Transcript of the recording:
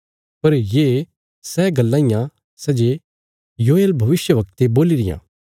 पर ये सै गल्लां इयां सै जे योयेल भविष्यवक्ते बोल्ली रियां